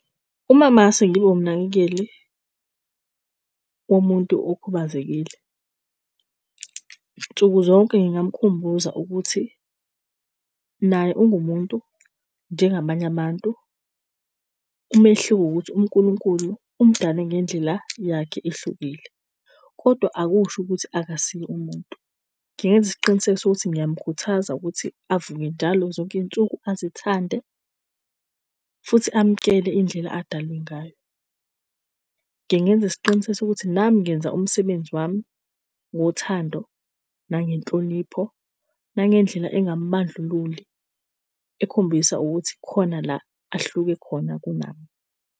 Uma mase ngibe umnakekeli womuntu okhubazekile, nsuku zonke ngingamukhumbuza ukuthi naye ungumuntu njengabanye abantu. Umehluko ukuthi uNkulunkulu umdale ngendlela yakhe ehlukile, kodwa akusho ukuthi akasiye umuntu. Ngingenza isiqiniseko sokuthi ngiyamkhuthaza ukuthi avuke njalo zonke iy'nsuku azithande futhi amkele indlela adalwe ngayo. Ngingenza isiqinisekiso ukuthi nami ngenza umsebenzi wami ngothando nangenhlonipho, nangendlela engamubandlululi, ekhombisa ukuthi kukhona la ahluke khona kunami.